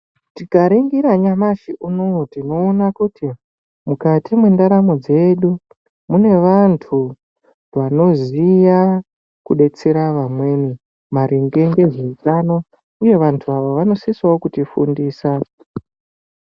Tikaringira nyamashi uno uyu tinoona kuti mukati mwendaramo dzedu mune vantu vanoziya kudetsera vamweni maringe ngezveutano uye vantu ava vanosisawo kutifundisa .